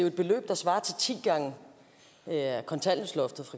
et beløb der svarer til ti gange kontanthjælpsloftet